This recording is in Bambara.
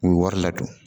U bɛ wari ladon